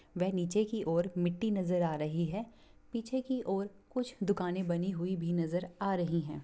वे नीचे की ओंर मिट्टी नजर आ रही है पीछे की और कुछ दुकाने बनी हुई भी नजर आ रही है।